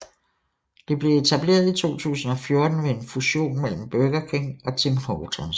Det blev etableret i 2014 ved en fusion mellem Burger King og Tim Hortons